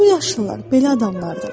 Bu yaşlılar belə adamlardır.